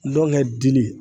Ndɔnɔ kɛ dili